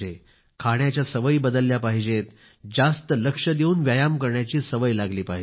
खाण्याच्या सवयी बदलायला पाहिजेत जास्त लक्ष देऊन व्यायाम करायची सवय लागली पाहिजे